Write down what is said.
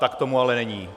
Tak tomu ale není.